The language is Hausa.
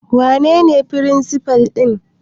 Wanene firinsifal ɗin?